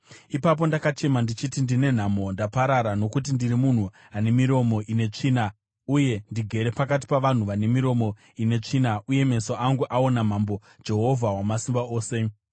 Ipapo ndakachema ndichiti, “Ndine nhamo! Ndaparara! Nokuti ndiri munhu ane miromo ine tsvina uye ndigere pakati pavanhu vane miromo ine tsvina uye meso angu aona Mambo, Jehovha Wamasimba Ose.”